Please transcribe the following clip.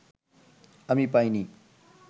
আমি পাইনি